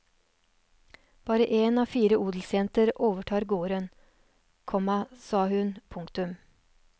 Bare én av fire odelsjenter overtar gården, komma sa hun. punktum